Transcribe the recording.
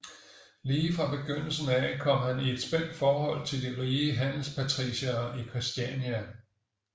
Lige fra begyndelsen af kom han i et spændt forhold til de rige handelspatriciere i Christiania